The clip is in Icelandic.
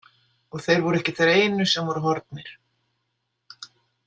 Og þeir voru ekki þeir einu sem voru horfnir.